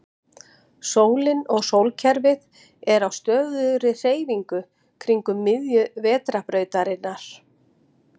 Sólin og sólkerfið er á stöðugri hreyfingu kringum miðju Vetrarbrautarinnar.